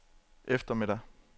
eftermiddag